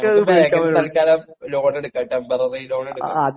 നമുക്ക് ബാങ്കില് തൽകാലം ലോൺ എടുക്കാം, ടെമ്പററി ലോൺ എടുക്കാം.